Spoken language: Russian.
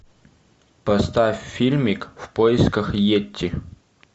поставь фильмик в поисках етти